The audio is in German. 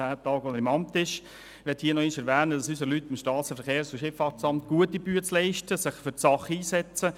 Ich möchte an dieser Stelle noch einmal erwähnen, dass unsere Leute im SVSA gute Arbeit leisten und sich für die Sache einsetzen.